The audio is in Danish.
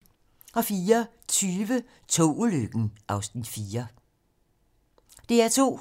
DR2